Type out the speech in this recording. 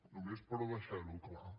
només per deixar ho clar